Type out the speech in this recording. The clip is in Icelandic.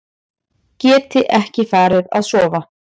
Gæti ekki farið að sofa.